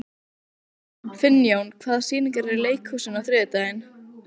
Finnjón, hvaða sýningar eru í leikhúsinu á þriðjudaginn?